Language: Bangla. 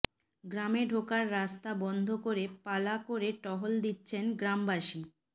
গ্রামে ঢোকার রাস্তা বন্ধ করে পালা করে টহল দিচ্ছেন গ্রামবাসী